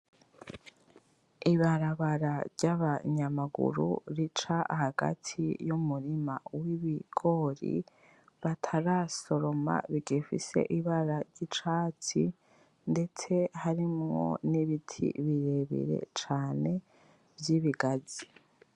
Ibarabara ryabanyamaguru rica hagati yumurima wibigori batarasoroma bigifise ibara ryicatsi ndetse harimwo nibiti birebire cane vyibigazi